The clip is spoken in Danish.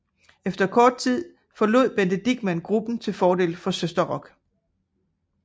Efter kort tid forlod Bente Dichmann gruppen til fordel for Søsterrock